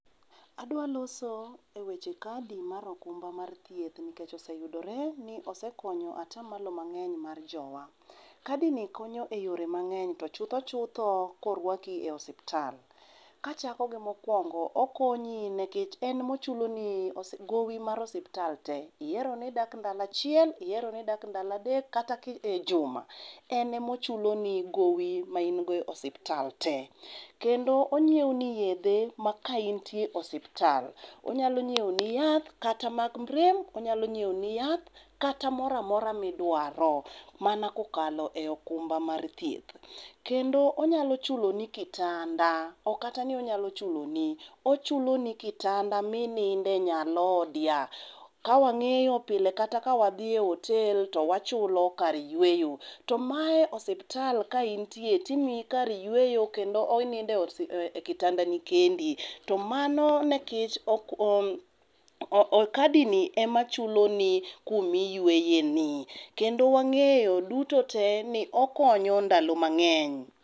Adwa loso eweche kadi mar okumba mar thiethni nikech oseyudore ni osekonyo ataa malo mang'eny mar jowa. Kadini konyo eyore mang'eny to chutho chutho korwaki e osiptal. Kachako gi mokuongo okonyi nikech en mochuloni gowi mar osiptal te, ieroni idak ndalo achiel ieroni idak ndalo adek kata ejuma ene mochuloni gowi maingo e osiptal te. Kendo onyiewoni yedhe ma ka intie osiptal, onyalo nyiewoni yath kata mag rem onyalo nyiewoni yath kata moro amora midwaro mana kokalo e okumba mar thieth. Kendo onyalo chuloni kitanda ok kata ni onyalo chuloni. Ochuloni kitanda mininde nyalodia. Kawang'iyo pile kata kawadhie otel to wachulo kar yweyo. To mae osiptal ka intie timiyi kar yweyo kendo oninde ekitandni kendi tomano to mano nikech oo kadini emachuloni kuma iyweyeni kendo wang'eyo dutote ni okonyo ndalo mang'eny.